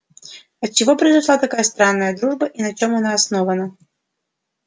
отчего произошла такая странная дружба и на чем она основана